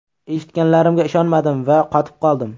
Eshitganlarimga ishonmadim va qotib qoldim.